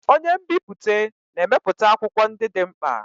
Onye nbipute na-emepụta akwụkwọ ndị dị mkpa.